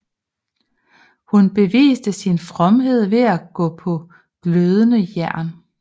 Hun beviste sin fromhed ved at gå på glødende jern